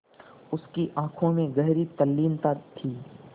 उसकी आँखों में गहरी तल्लीनता थी